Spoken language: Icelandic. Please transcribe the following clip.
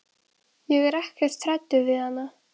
Ég er ekkert hræddur við hana.